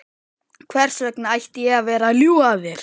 Hvers vegna ætti ég að vera að ljúga að þér?